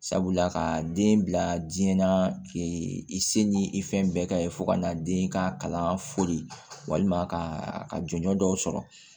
Sabula ka den bila diɲɛ na i se ni i fɛn bɛɛ ka ye fo ka na den ka kalan foli walima ka jɔnjɔ dɔw sɔrɔ